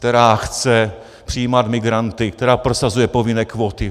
Která chce přijímat migranty, která prosazuje povinné kvóty.